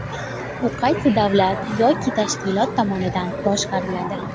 U qaysi davlat yoki tashkilot tomonidan boshqariladi?